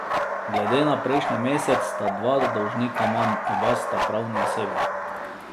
Glede na prejšnji mesec sta dva dolžnika manj, oba sta pravni osebi.